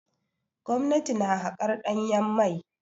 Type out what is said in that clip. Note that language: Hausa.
Gwamnati na haƙar ɗanyen mai.